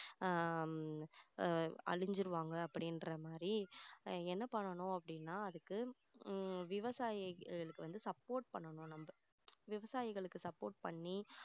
ஆஹ் ஹம் அழிஞ்சிருவாங்க அப்படின்ற மாதிரி என்ன பண்ணணும் அப்படின்னா அதுக்கு ஹம் விவசாயிகளுக்கு வந்து support பண்ணணும் நம்ம விவசாயிகளுக்கு support பண்ணி